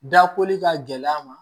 Dakoli ka gɛlɛn a ma